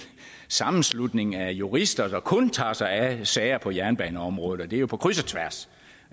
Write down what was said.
sammenslutning af jurister der kun tager sig af sager på jernbaneområdet og det er på kryds og tværs